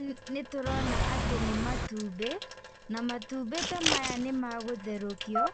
Nĩtũrona atĩ nĩ matumbĩ, na matumbĩ ta maya nĩmagũtherũkio,